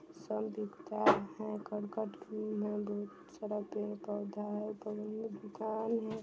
सन दिखता है अपने ही घर का धूम है वो सड़क पर ही पड़ता है पगलू कौन है।